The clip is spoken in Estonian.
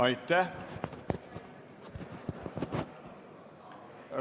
Aitäh!